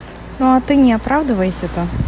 ну а ты не оправдывайся-то